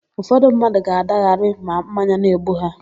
Ụfọdụ mmadụ ga-adagharị ma mmanya na-egbu ha.